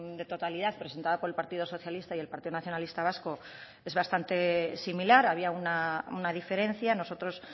de totalidad presentada por el partido socialista y el partido nacionalista vasco es bastante similar había una diferencia nosotros